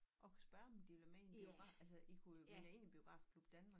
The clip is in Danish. Og spørge om de vil med i en biograf altså i kunne jo melde jer ind i Biografklub Danmark